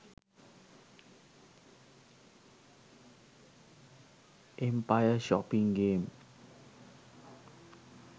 empire shopping game